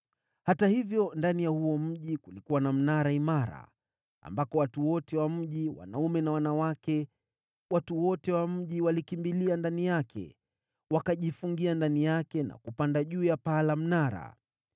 Hata hivyo, ndani ya huo mji kulikuwa na mnara imara, ambako watu wote wa mji wanaume na wanawake, watu wote wa mji, walikimbilia ndani yake. Wakajifungia ndani yake na kupanda juu ya paa la mnara.